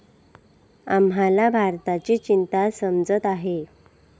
आम्हाला भारताची चिंता समजत आहे.